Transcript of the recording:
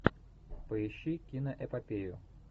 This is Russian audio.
поищи киноэпопею